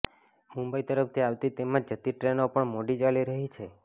મુંબઈ તરફ આવતી તેમજ જતી ટ્રેનો પણ મોડી ચાલી રહી છે